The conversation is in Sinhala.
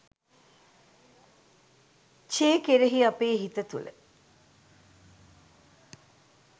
චේ කෙරෙහි අපේ හිත තුල